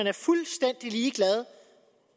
er fuldstændig ligeglad